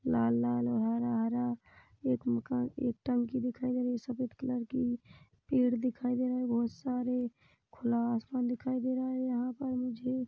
लाल-लाल हरा-हरा एक मकान एक टंकी दिखाई दे रही है सफेद कलर की पेड़ दिखाई दे रही है बहुत सारे खुला आसमान दिखाई दे रहा है यहाँ पर मुझे --